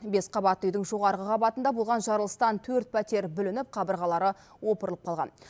бес қабатты үйдің жоғарғы қабатында болған жарылыстан төрт пәтер бүлініп қабырғалары опырылып қалған